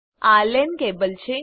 આ LAN cable છે